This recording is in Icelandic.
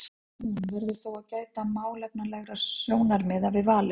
Hann eða hún verður þó að gæta málefnalegra sjónarmiða við valið.